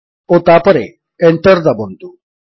ଓ ତାପରେ Enter ଦାବନ୍ତୁ